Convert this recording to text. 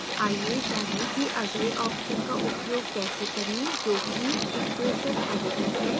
आइए जानें कि अगले option का उपयोग कैसे करें जो कि equation editor है